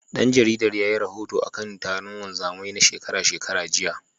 Ɗan jaridar yayi rahoto akan taron wanzamai na shekara shekara, jiya.